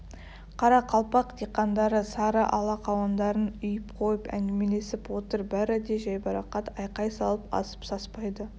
қарақалпақ диқандары сары ала қауындарын үйіп қойып әңгімелесіп отыр бәрі де жайбарақат айқай салып асып-саспайды